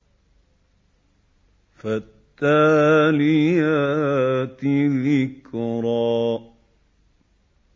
فَالتَّالِيَاتِ ذِكْرًا